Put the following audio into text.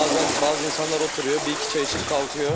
Bəzən bəzi insanlar oturur, bir-iki çay içib qalxır.